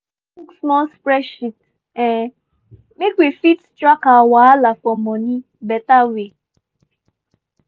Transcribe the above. i don hook small spreadsheet um make we fit track our wahala for money beta way.